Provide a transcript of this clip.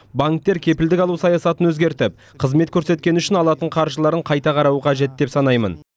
банктер кепілдік алу саясатын өзгертіп қызмет көрсеткені үшін алатын қаржыларын қайта қарауы қажет деп санаймын